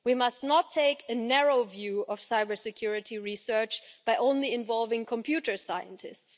We must not take a narrow view of cybersecurity research by only involving computer scientists.